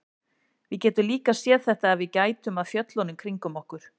Við getum líka séð þetta ef við gætum að fjöllunum kringum okkur.